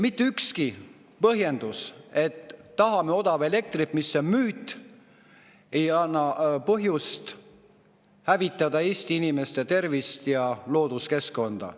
Mitte ükski põhjendus, et tahame odavat elektrit – mis on müüt –, ei anna põhjust hävitada Eesti inimeste tervist ja looduskeskkonda.